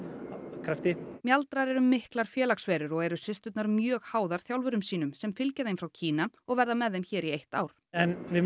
krafti mjaldrar eru miklar félagsverur og eru systurnar mjög háðar þjálfurum sínum sem fylgja þeim frá Kína og verða með þeim í eitt ár en við munum